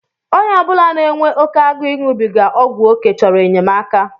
Onye obula na-enwe oke agụụ iṅụbiga ọgwụ oké chọrọ enyemaka.